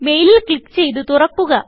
മെയിലിൽ ക്ലിക്ക് ചെയ്ത് തുറക്കുക